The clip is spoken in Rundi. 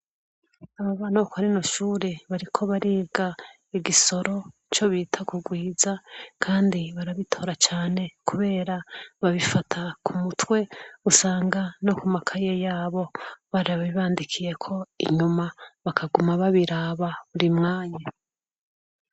Abana bo kuri rino shure bariko bariga igisoro co bita kugwiza kandi barabitora cane kubera babifata kumutwe usanga no kumakaye yabo barabibandikiyeko inyuma bakaguma babiraba.